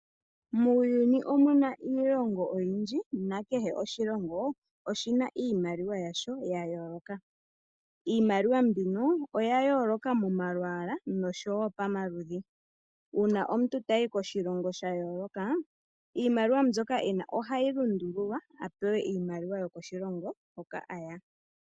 Muuyuni omuna iilongo oyindji na kehe oshilongo oshina iimaliwa yasho ya yooloka. Iimaliwa mbino oya yooloka mo malwaala nosho wo pa maludhi. Uuna omuntu tayi koshilongo sha yooloka, iimaliwa mbyoka ena ohayi lundululwa apewe iimaliwa yo koshilongo hoka aya.